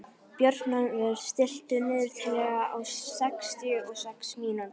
Björnólfur, stilltu niðurteljara á sextíu og sex mínútur.